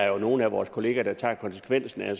jo nogle af vores kolleger der tager konsekvensen af